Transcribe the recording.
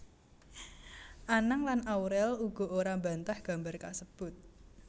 Anang lan Aurel uga ora mbantah gambar kasebut